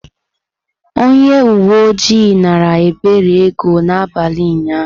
Onye uwe ojii naara Ebere ego n’abalị ụnyahụ.